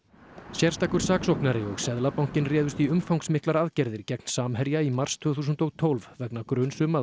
sérstakur saksóknari og Seðlabankinn réðust í umfangsmiklar aðgerðir gegn Samherja í mars tvö þúsund og tólf vegna gruns um að